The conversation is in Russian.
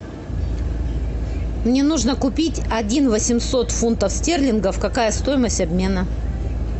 мне нужно купить один восемьсот фунтов стерлингов какая стоимость обмена